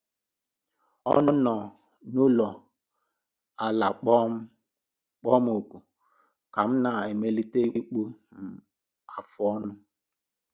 Ọ nọ n'ụlọ ala kpọọ m oku ka m na - amalite ịkpụ um afụ ọnụ